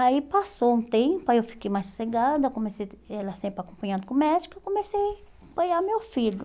Aí passou um tempo, aí eu fiquei mais sossegada, comecei ela sempre acompanhando com o médico, eu comecei a acompanhar meu filho.